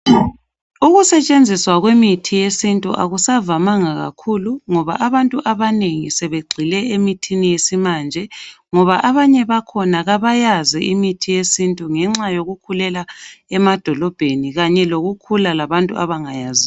Ukusetshenziswa kwemithi yesintu akusavamanga kakhulu ngoba abantu abanengi sebegcine imithi yesimanje ngoba abanye bakhona kabayazi imithi yesintu ngenxa yokukhulela emadolobheni kanye lokukhula labantu abangayaziyo